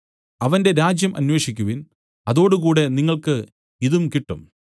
അവന്റെ രാജ്യം അന്വേഷിക്കുവിൻ അതോടുകൂടെ നിങ്ങൾക്ക് ഇതും കിട്ടും